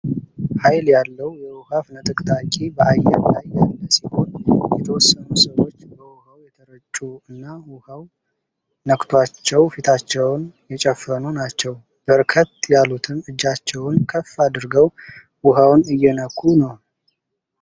ሃይል ያለው የዉሃ ፍንጥቅጣቂ በአየር ላይ ያለ ሲሆን የተወሰኑ ሰዎች በዉሃው የተረጩ እና ዉሃው ነክቷቸው ፊታቸውን የጨፈኑ ናቸው። በርከት ያሉትም እጃቸውን ከፍ አድርገው ውሃውን እየነኩ ነው።